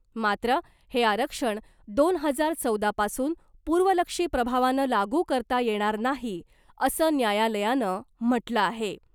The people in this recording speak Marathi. मात्र हे आरक्षण दोन हजार चौदा पासून पूर्वलक्षी प्रभावानं लागू करता येणार नाही , असं न्यायालयानं म्हटलं आहे .